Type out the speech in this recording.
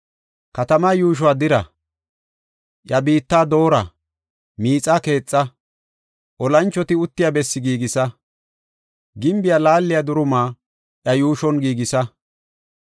Katamaa yuushuwa dira; iya biitta doora; miixa keetha; olanchoti uttiya bessi giigisa; gimbiya laaliya duruma iya yuushon giigisa.